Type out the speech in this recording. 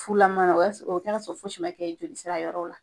Fulama o y'a sɔrɔ o bi kɛ ka sɔrɔ fosi ma kɛ joli sira yɔrɔ la.